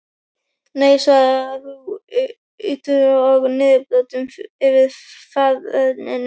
Nei svarar þú, úttaugaður og niðurbrotinn yfir faðerninu.